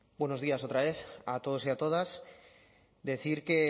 buenos días otra vez a todos y a todas decir que